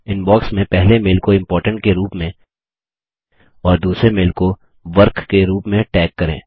inbox में पहले mail को इम्पोर्टेंट के रूप में और दूसरे मेल को वर्क के रूप में टैग करें